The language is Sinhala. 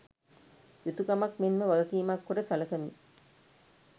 යුතුකමක් මෙන්ම වගකීමක් කොට සළකමි